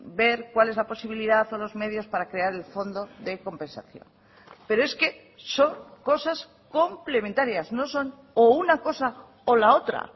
ver cuál es la posibilidad o los medios para crear el fondo de compensación pero es que son cosas complementarias no son o una cosa o la otra